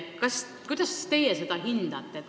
Kuidas teie seda hindate?